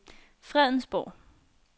Fredensborg